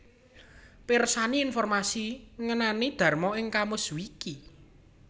Pirsani informasi ngenani Dharma ing KamusWiki